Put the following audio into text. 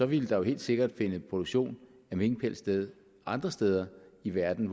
ville der helt sikkert finde produktion af minkpels sted andre steder i verden